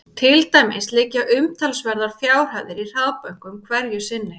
Til dæmis liggja umtalsverðar upphæðir í hraðbönkum hverju sinni.